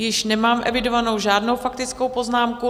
Již nemám evidovanou žádnou faktickou poznámku.